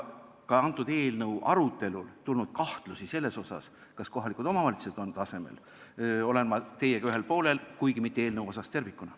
Ka eelnõu arutelul esitatud kahtluste puhul, kas kohalikud omavalitsused on tasemel, olen ma teiega ühel poolel, kuigi mitte eelnõu asjus tervikuna.